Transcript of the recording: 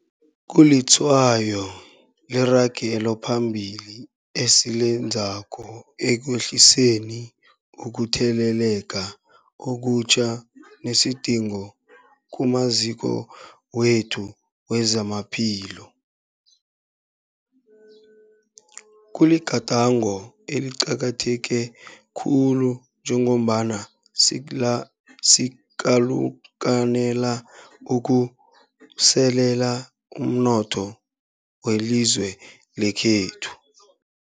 Kulitshwayo leragelo phambili esilenzako ekwehliseni ukutheleleka okutjha nesidingo kumaziko wethu wezamaphilo. Kuligadango eliqakatheke khulu njengombana sikalukanela ukuvuselela umnotho welizwe lekhethu.